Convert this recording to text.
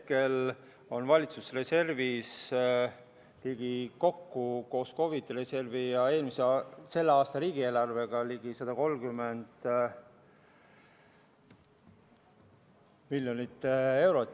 Hetkel on valitsuse reservis kokku koos COVID‑i reservi ja selle aasta riigieelarvega ligi 130 miljonit eurot.